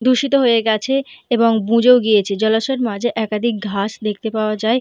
দূষিত হয়ে গিয়াছে এবং বুজেও গাছে। জলাশয়ে মাঝে একাদিক ঘাস দেখতে পাওয়া যাই।